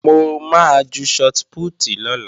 Mo máa ju shọt pútì lọ́la